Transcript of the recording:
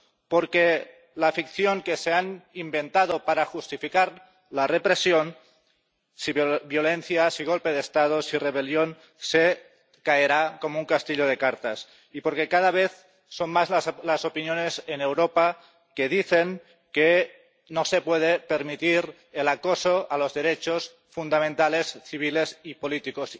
porque la ficción que se han inventado para justificar la represión que si violencia, que si golpe de Estado, que si rebelión se caerá como un castillo de cartas, y porque cada vez son más las opiniones en Europa que dicen que no se puede permitir el acoso a los derechos fundamentales, civiles y políticos.